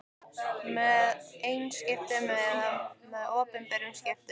með einkaskiptum eða með opinberum skiptum.